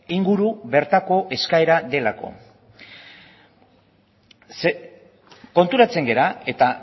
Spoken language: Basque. inguru bertako eskaera delako konturatzen gara eta